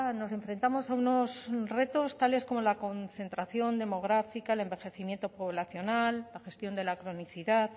nos enfrentamos a unos retos tales como la concentración democrática el envejecimiento poblacional la gestión de la cronicidad